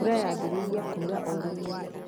Mbura yambĩrĩirie kura o rĩmwe